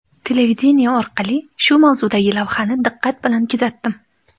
Televideniye orqali shu mavzudagi lavhani diqqat bilan kuzatdim.